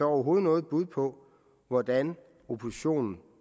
overhovedet noget bud på hvordan oppositionen